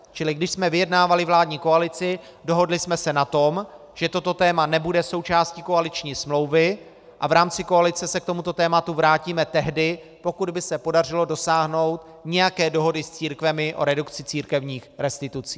Čili když jsme vyjednávali vládní koalici, dohodli jsme se na tom, že toto téma nebude součástí koaliční smlouvy a v rámci koalice se k tomuto tématu vrátíme tehdy, pokud by se podařilo dosáhnout nějaké dohody s církvemi o redukci církevních restitucí.